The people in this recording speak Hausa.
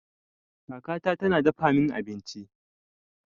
Kaka ta na dafa min abinci.